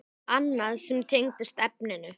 Annað sem tengist efninu